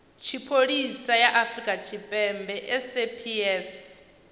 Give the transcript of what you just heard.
tshipholisa ya afrika tshipembe saps